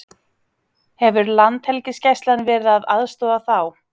Hefur Landhelgisgæslan verið að aðstoða þá?